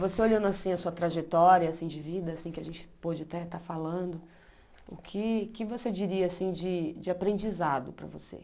Você olhando assim a sua trajetória assim de vida, assim que a gente pode até estar falando, o que que você diria assim de de aprendizado para você?